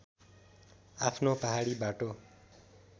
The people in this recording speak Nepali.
आफ्नो पहाडी बाटो